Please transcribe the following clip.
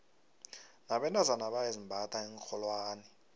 nabentazana bayazimbatha iinrholwane